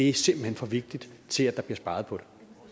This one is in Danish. er simpelt hen for vigtigt til at der bliver sparet på